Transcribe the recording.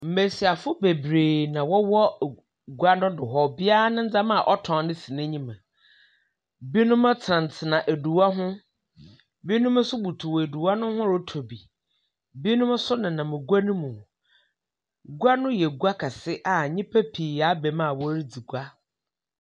Mmesiafo bebree na wɔwɔ gua no do hɔ. Obiaa ne ndzɛma a ɔtɔn no si n'enyim. Binom tsenatsena edua ho, binom nso butuw edua no ho retɔ bi. Binom nso nenam gua no mu. Gua no yɛ gua kɛse a nyipa pii aba mu a wɔre dzi gua.